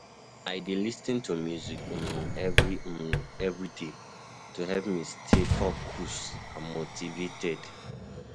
I dey lis ten to music um every um day to help me stay focused and motivated.